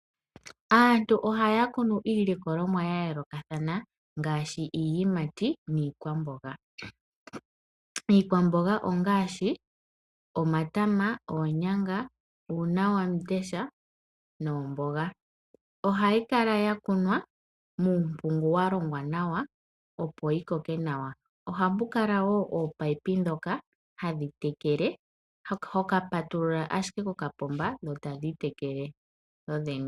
Aantu ohaya kunu iilikolomwa ya yoolokathana ngaashi iiyimati niikwamboga. Iikwamboga ngaashi omatama, oonyanga, uunawamundesha noomboga. Ohayi kala ya kunwa muumpungu wa longwa nawa, opo yi koke nawa. Ohamu kala wo ominino dhoka hoka patulula ashike kokapomba dho tadhi tekele dho dhene.